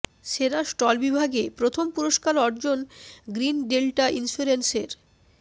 সেরা স্টল বিভাগে প্রথম পুরস্কার অর্জন গ্রীন ডেল্টা ইন্স্যুরেন্সের